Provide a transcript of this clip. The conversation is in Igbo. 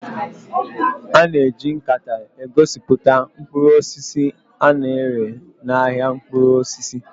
A na-eji nkata egosipụta mkpụrụ osisi a na-ere n'ahịa mkpụrụ osisi